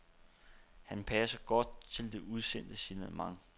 Han passer godt til det udsendte signalement.